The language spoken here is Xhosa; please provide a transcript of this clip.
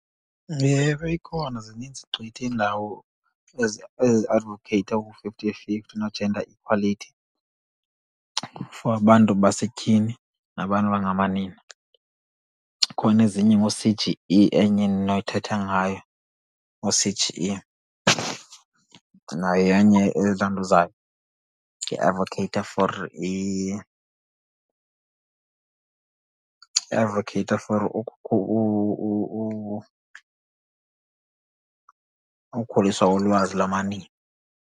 Ewe, ikhona zininzi gqithi iindawo eziadvokheyitha oo-fifty fifty no-gender equality for abantu basetyhini nabantu abangamanina. Khona ezinye ngoo-C_G_E enye endinothetha ngayo, oo-C_G_E, nayo yenye iadvokheyitha for, advokheyitha for ukhuliswa lolwazi lamanina.